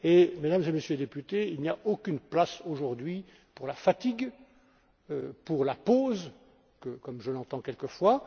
Mesdames et Messieurs les députés, il n'y a aucune place aujourd'hui pour la fatigue, pour la pause, comme je l'entends quelquefois.